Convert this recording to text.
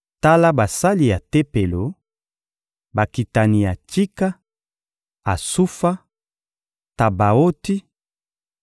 Tala basali ya Tempelo: Bakitani ya Tsika, Asufa, Tabaoti,